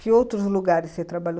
Que outros lugares você trabalhou?